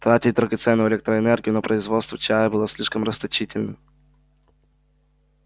тратить драгоценную электроэнергию на производство чая было слишком расточительно